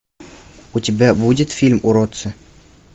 у тебя будет фильм уродцы